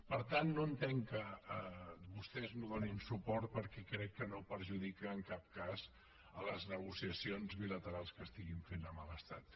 per tant no entenc que vostès no hi donin suport perquè crec que no perjudica en cap cas les negociacions bilaterals que estiguin fent amb l’estat